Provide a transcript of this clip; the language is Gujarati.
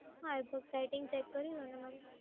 હા, એ તો સેટિંગ ચેક કરી લો ને મેમ.